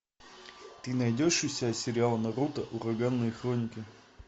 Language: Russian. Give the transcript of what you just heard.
ты найдешь у себя сериал наруто ураганные хроники